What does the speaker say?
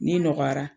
N'i nɔgɔyara